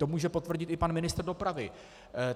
To může potvrdit i pan ministr dopravy.